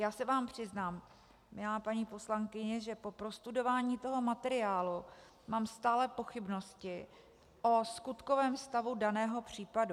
Já se vám přiznám, milá paní poslankyně, že po prostudování toho materiálu mám stále pochybnosti o skutkovém stavu daného případu.